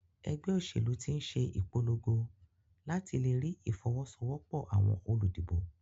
Egbé òsèlú tín se ìpologo làti lerí ìfowósowópò àwon olùdìbò